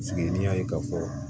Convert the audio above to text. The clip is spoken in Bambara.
n'i y'a ye k'a fɔ